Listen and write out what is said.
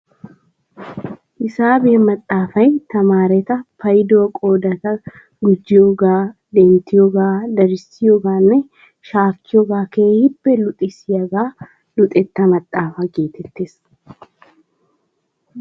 Hisaabiya maxafay tamaareta payduwa qoodanawu gujiyoogaa, denttiyoogaa, darissiyoogaanne shaakiyoogaa keehiippe luxissiyaagaa luxetta maxaafaa geettees.